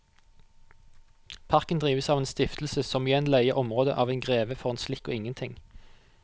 Parken drives av en stiftelse som igjen leier området av en greve for en slikk og ingenting.